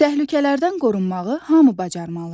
Təhlükələrdən qorunmağı hamı bacarmalıdır.